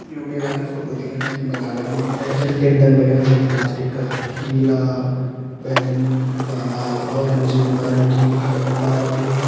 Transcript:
यु मेला की फोटो दिखेणी यख मेला लग्युं एच जन टेंटन लग्यां यु प्लास्टिक का नीला बैैंगनी काला ऑरेंंज नारंगी तार लगीं।